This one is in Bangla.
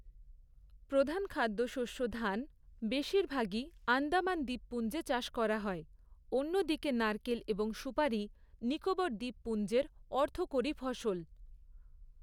প্রধান খাদ্য শস্য ধান বেশিরভাগই আন্দামান দ্বীপপুঞ্জে চাষ করা হয়, অন্য দিকে নারকেল এবং সুপারি নিকোবর দ্বীপপুঞ্জের অর্থকরী ফসল।